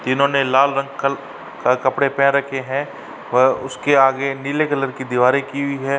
जिन्होंने ने लाल रंग कल कपड़े पहन रखे हैं व उसके आगे नीले कलर के दीवारे की हुई हैं।